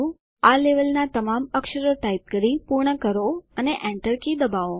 આ લેવલના તમામ અક્ષરો ટાઇપ કરી પૂર્ણ કરો અને Enter કી દબાવો